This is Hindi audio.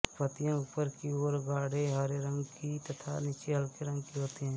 पत्तियां ऊपर की ओर गाढ़े हरे रंग की तथा नीचे हल्के रंग की होती है